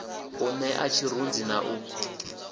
u nṋea tshirunzi na u